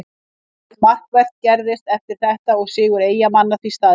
Ekkert markvert gerðist eftir þetta og sigur Eyjamanna því staðreynd.